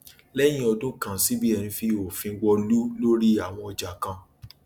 lẹyìn ọdún kan cbn fi òfin wọlú lórí àwọn ọjà kan